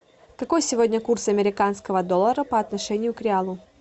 какой сегодня курс американского доллара по отношению к реалу